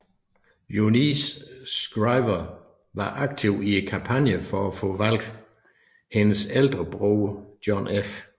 Eunice Shriver var aktiv i kampagnen for at få valgt hendes ældre bror John F